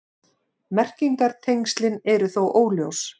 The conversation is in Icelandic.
Merkingartengslin eru þó óljós.